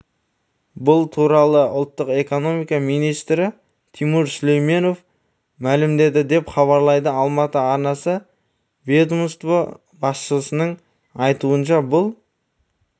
бұл туралы ұлттық экономика министрі тимур сүлейменов мәлімдеді деп хабарлайды алматы арнасы ведомство басшысының айтуынша бұл